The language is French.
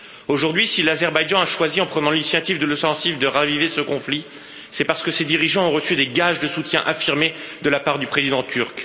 Aujourd'hui, si l'Azerbaïdjan a choisi, en prenant l'initiative de l'offensive de raviver ce conflit, c'est parce que ses dirigeants ont reçu des gages de soutien affirmés de la part du président turc.